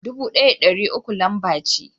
Dubu ɗaya da ɗari uku lamba ce.